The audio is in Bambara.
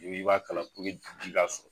N'i ko i b'a kalan puruke ji ka sɔrɔ